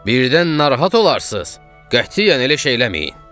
Birdən narahat olarsız, qətiyyən elə şey eləməyin.